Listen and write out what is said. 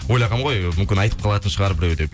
ойлағанмын ғой мүмкін айтып қалатын шығар біреу деп